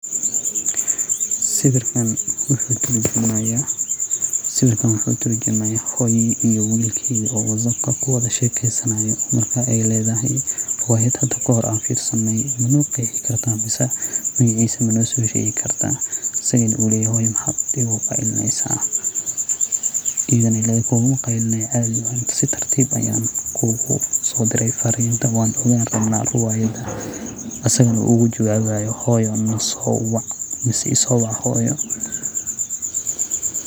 Sawirkan wuxuu turjumaya hoyoo iyo wilked oo whatsaapka kuwada sheekesanayo, marka ay ledahay riwaayad hada ka hore an firsanay mano qeexi karta mise magaciisa mano sheegi karta, asagana u uleyoho maxad igu qaylineysa iyidaba ay ledahay kuguma qaylinayo caadi si tartib ayan kuguso diray fariin wan rabna riwaayadaha, asagana uu ujawabayo hoyoo naso wac ama iso wac hoyoo